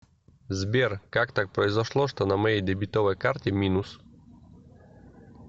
сбер как так произошло что на моей дебетовой карте минус